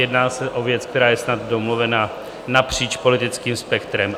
Jedná se o věc, která je snad domluvená napříč politickým spektrem.